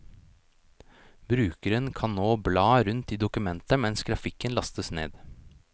Brukeren kan nå bla rundt i dokumentet mens grafikken lastes ned.